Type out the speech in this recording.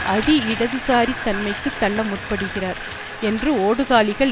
அதி இடதுசாரி தன்மைக்கு தள்ள முற்படுகிறார் என்று ஓடுகாலிகள்